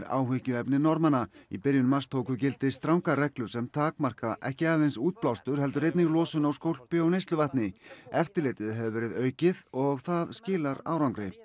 áhyggjuefni Norðmanna í byrjun mars tóku gildi strangar reglur sem takmarka ekki aðeins útblástur heldur einnig losun á skólpi og neysluvatni eftirlitið hefur verið aukið og það skilar árangri